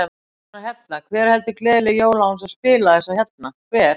Sjáðu þennan hérna, hver heldur gleðileg jól án þess að spila þessa hérna, hver?